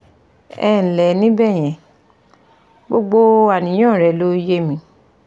Ẹ ǹlẹ́ ní bẹ̀yẹn, gbogbo àníyàn rẹ ló yé mi